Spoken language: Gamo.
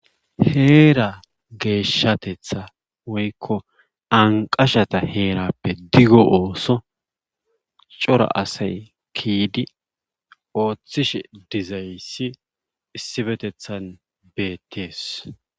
Heera geeshatetha woykka anqqashata heerappe digo ooso cora asay kiidi oothishe dizayssi issifetethan beettees.